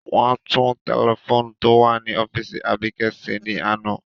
Wọn tun tẹlifoonu to wa ni ọfiisi Abike ṣe ni ana.